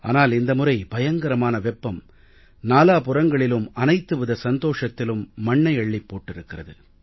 ஆனால் இந்த முறை பயங்கரமான வெப்பம் நாலாபுறங்களிலும் அனைத்து வித சந்தோஷத்திலும் மண்ணை அள்ளிப் போட்டிருக்கிறது